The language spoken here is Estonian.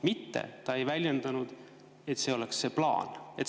Mitte ta ei väljendanud nii, et see oleks see plaan.